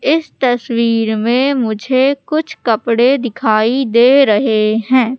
इस तस्वीर में मुझे कुछ कपड़े दिखाई दे रहे हैं।